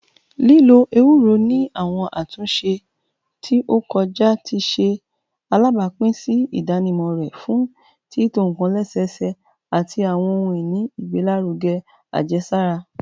Lilo ewuro ni awọn atunṣe ti o kọja ti ṣe alabapin si idanimọ rẹ fun tito nkan lẹsẹsẹ ati awọn ohun-ini igbelaruge ajesara.